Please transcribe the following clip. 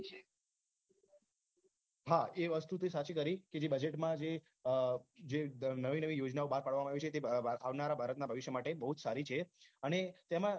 હા એ વાત તો સાચી કરી કે જે budget મા જે નવી નવી યોજનાઓ બાર પાડવામાં આવી છે જે તે આવનારા ભારતના ભવિષ્ય માટે બહુ જ સારી છે અને તેમાં